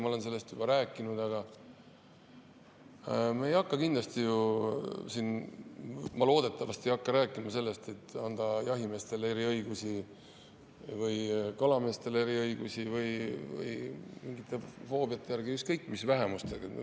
Ma olen sellest juba rääkinud, et me kindlasti või loodetavasti ei hakka siin, et anda jahimeestele või kalameestele eriõigusi või eriõigusi mingite foobiate järgi, ükskõik mis vähemustele.